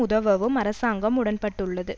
உதவவும் அரசாங்கம் உடன்பட்டுள்ளது